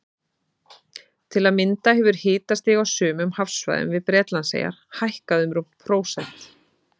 Til að mynda hefur hitastig á sumum hafsvæðum við Bretlandseyjar hækkað um rúmt prósent.